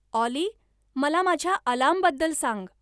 ऑली मला माझ्या अलार्मबद्दल सांग